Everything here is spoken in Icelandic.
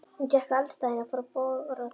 Hún gekk að eldstæðinu og fór að bogra þar.